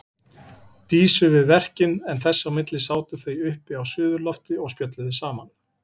Dísu við verkin en þess á milli sátu þau uppi á suðurlofti og spjölluðu saman.